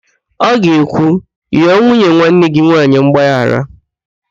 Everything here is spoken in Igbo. Ọ ga-ekwu, ghọọ nwanne nwunye gị nwaanyị mgbaghara!